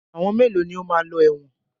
Àwọn mélòó ní o máa lọ ẹ̀wọ̀n?